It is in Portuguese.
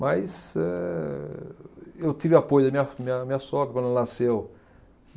Mas eh, eu tive apoio da minha, minha, minha sogra quando nasceu.